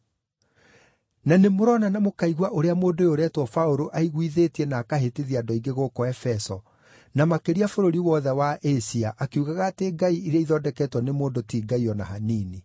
Na nĩmũrona na mũkaigua ũrĩa mũndũ ũyũ ũretwo Paũlũ aiguithĩtie na akahĩtithia andũ aingĩ gũkũ Efeso, na makĩria bũrũri wothe wa Asia akiugaga atĩ ngai iria ithondeketwo nĩ mũndũ ti ngai o na hanini.